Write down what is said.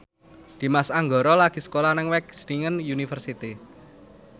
Dimas Anggara lagi sekolah nang Wageningen University